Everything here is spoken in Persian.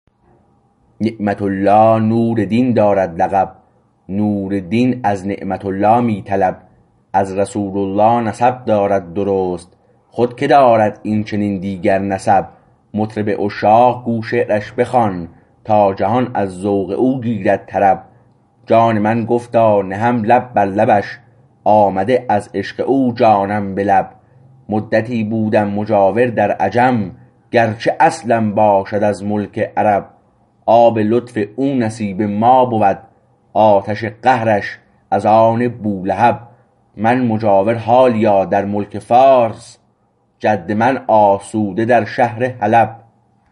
نعمت الله نور دین دارد لقب نور دین از نعمت الله می طلب از رسول الله نسب دارد درست خود که دارد این چنین دیگر نسب مطرب عشاق گو شعرش بخوان تا جهان از ذوق او گیرد طرب جان من گفتا نهم لب بر لبش آمده از عشق او جانم به لب مدتی بودم مجاور در عجم گرچه اصلم باشد از ملک عرب آب لطف او نصیب ما بود آتش قهرش از آن بولهب من مجاور حالیا در ملک فارس جد من آسوده در شهر حلب